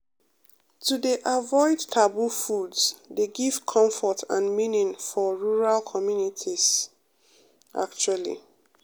to dey avoid taboo foods dey give comfort and meaning for um rural communities um actually